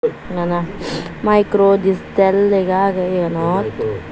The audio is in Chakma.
nana micro digital lega aagay iyenot.